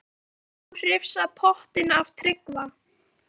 Getur þú hrifsað pottinn af Tryggva?